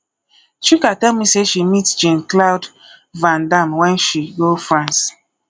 chika tell me say she meet jean claude van dam wen she go france